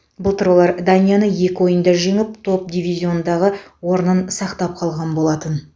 былтыр олар данияны екі ойында жеңіп топ дивизиондағы орнын сақтап қалған болатын